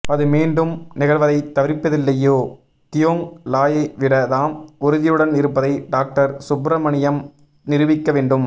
அது மீண்டும் நிகழ்வதைத் தவிர்ப்பதில்லியோ தியோங் லாயைவிட தாம் உறுதியுடன் இருப்பதை டாக்டர் சுப்ரமணியம் நிரூபிக்க வேண்டும்